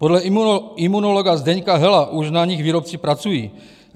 Podle imunologa Zdeňka Hela už na nich výrobci pracují.